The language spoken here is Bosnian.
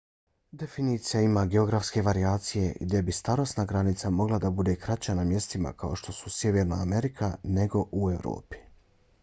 definicija ima geografske varijacije gdje bi starosna granica mogla da bude kraća na mjestima kao što su sjeverna amerika nego u evropi